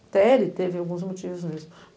Até ele teve alguns motivos nisso.